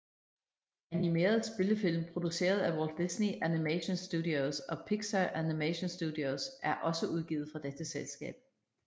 Animerede spillefilm produceret af Walt Disney Animation Studios og Pixar Animation Studios er også udgivet fra dette selskab